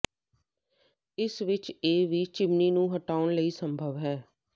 ਇਸ ਵਿਚ ਇਹ ਵੀ ਚਿਮਨੀ ਨੂੰ ਹਟਾਉਣ ਲਈ ਸੰਭਵ ਹੈ